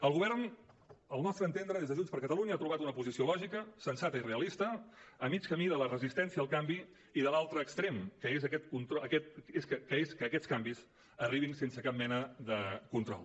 el govern al nostre entendre des de junts per catalunya ha trobat una posició lògica sensata i realista a mig camí de la resistència al canvi i de l’altre extrem que és que aquests canvis arribin sense cap mena de control